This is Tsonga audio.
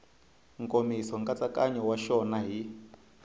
nkomiso nkatsakanyo wa xona hi